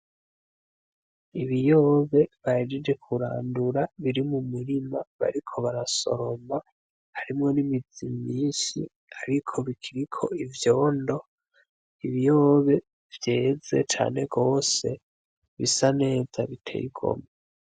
Ibiyobe bahejeje kurandura biri mumurima bariko barasoroma harimwo nimizi myinshi ariko bikiriko ivyondo, ibiyobe vyeze cane gose bisa neza biteye igomwe.